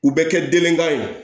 U bɛ kɛ denkan ye